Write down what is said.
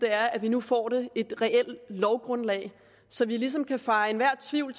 er at vi nu får et reelt lovgrundlag så vi ligesom kan feje enhver tvivl